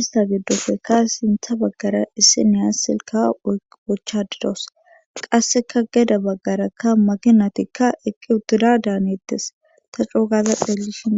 ista geddofekka sintha baggara isse niyas silka wochadidos qasseka geda baggarakka maginatikka eqqi uttida daanettes ta coogaza xelishin